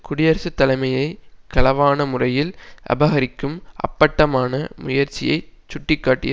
குடியரசு தலைமையை களவான முறையில் அபகரிக்கும் அப்பட்டமான முயற்சியை சுட்டி காட்டியது